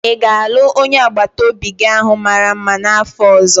Ị ga-alụ onye agbata obi gi ahụ mara mma n'afọ ọzọ?